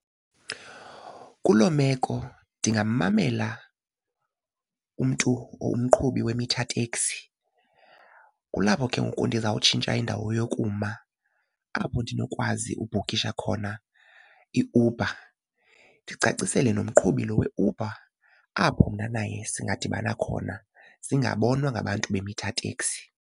Kuloo meko ndingammamela umntu umqhubi we-meter taxi. Kulapho ke ngoku ndizawutshintsha indawo yokuma apho ndinokwazi ubhukisha khona iUber, ndicacisele nomqhubi lo weUber apho mna naye singadibana khona singabonwa ngabantu be-meter taxi.